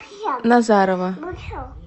назарова